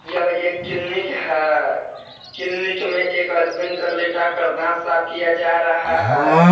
यह एक किलनिक है किलनिक में एक अदमिन कर लेटा कर दांत साफ किया जा रहा है।